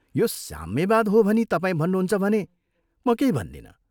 यो साम्यवाद हो भनी तपाईं भन्नुहुन्छ भने म केही भन्दिनँ।